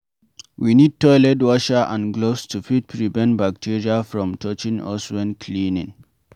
we need toilet washer and gloves to fit prevent bacteria from touching us when cleaning